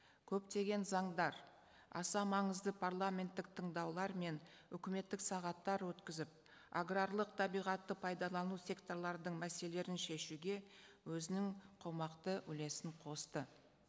көптеген заңдар аса маңызды парламенттік тыңдаулар мен үкіметтік сағаттар өткізіп аграрлық табиғатты пайдалану секторлардың мәселелерін шешуге өзінің қомақты үлесін қосты